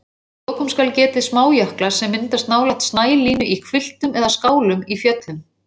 Að lokum skal getið smájökla sem myndast nálægt snælínu í hvilftum eða skálum í fjöllum.